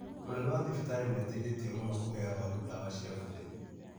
Mũnene wa thibitarĩ nĩ ateithĩtie mũno kũhe arawaru dawa cia bure.